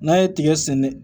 N'a ye tigɛ sɛnɛ